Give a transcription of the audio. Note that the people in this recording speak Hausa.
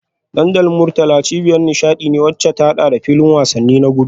Dandalin Murtala cibiyar nishadi ce wadda ta hada da filin wasanni na gudu